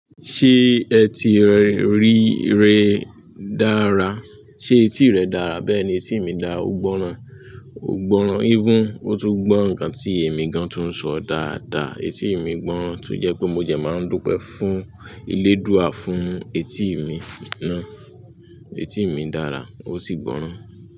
Ṣé ẹ ti rí ire dára? Ṣé etí rẹ dára? Bẹ́ẹ̀ ni etí mi dára, ó gbọ́ràn, ó gbọ́ràn even, ó tún gbọ́ nǹkan tí èmi gan tún ń sọ dáadáa. Etí mi gbọ́ràn to jẹ́ pé mo dẹ máa ń dúpẹ́ fún eledúà fún etí mi náà. Etí mi dára ó sì gbọ́ràn.